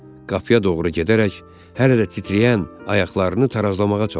Qapıya doğru gedərək hələ də titrəyən ayaqlarını tarazlamağa çalışdı.